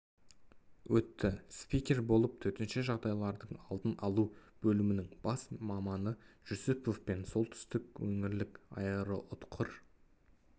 өтті спикер болып төтенше жағдайлардың алдын алу бөлімінің бас маманы жүсіпов пен солтүстік өңірлік аэроұтқыр